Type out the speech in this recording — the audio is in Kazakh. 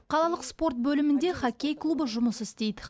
қалалық спорт бөлімінде хоккей клубы жұмыс істейді